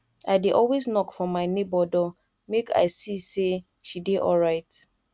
i dey always knock for my nebor door make i see sey she dey alright